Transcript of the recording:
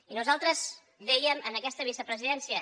i nosaltres dèiem a aquesta vicepresidència